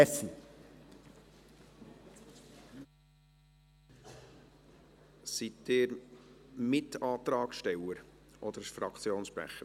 Herr Saxer, sind Sie Mitantragssteller oder Fraktionssprecher?